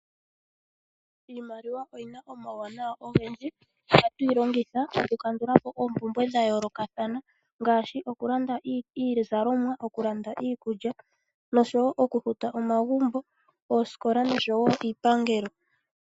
Iimaliwa oyina omawuwanawa ogendji. Ohatu yi longitha oku kandula po oompumbwe odhindji dha yoolokathana ngaashi okulanda iizalomwa, okulanda iikulya noshowo okufuta omagumbo, oosikola noshowo iipangelo.